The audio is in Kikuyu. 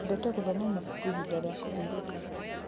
Nyendete gũthoma mabuku ihinda rĩa kũhurũka.